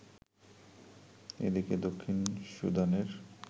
এদিকে দক্ষিণ সুদানের